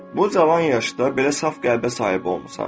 Bu cavan yaşda belə saf qəlbə sahib olmusan.